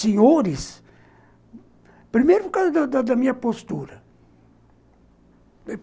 senhores, primeiro por causa da da da minha postura.